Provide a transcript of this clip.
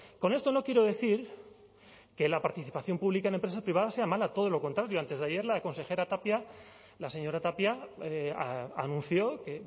con esto no quiero decir que la participación pública en empresa privada sea mala todo lo contrario antes de ayer la consejera tapia la señora tapia anunció que